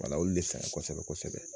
Wala olu de fɛ yan kosɛbɛ kosɛbɛ